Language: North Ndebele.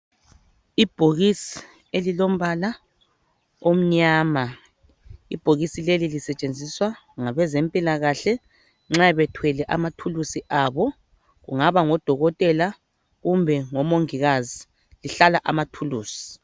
Ibhokisi elilombala omnyama. Ibhokisi leli lisetshenziswa ngabezempilakahle nxa bethwele amathulusi abo kungaba ngodokotela kumbe ngomongikazi. Lihlala amathulusi